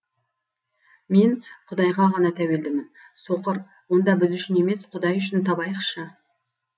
мен құдайға ғана тәуелдімін соқыр онда біз үшін емес құдай үшін табайықшы